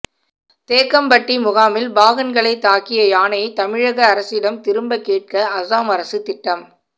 தேக்கம்பட்டி முகாமில் பாகன்கள் தாக்கிய யானையை தமிழக அரசிடம் திரும்ப கேட்க அசாம் அரசு திட்டம்